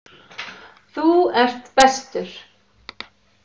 Þú ert bestur.